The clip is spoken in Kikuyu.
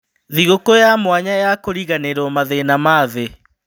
Thigũkũ ya mwanya ya kũriganĩrwo mathĩna ma-thĩ